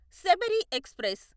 Sabari express